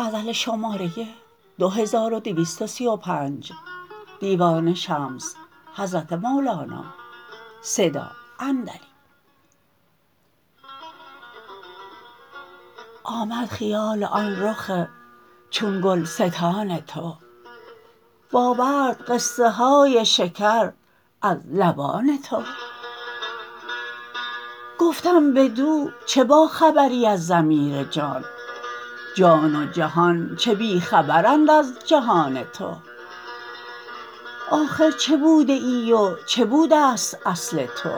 آمد خیال آن رخ چون گلستان تو و آورد قصه های شکر از لبان تو گفتم بدو چه باخبری از ضمیر جان جان و جهان چه بی خبرند از جهان تو آخر چه بوده ای و چه بوده ست اصل تو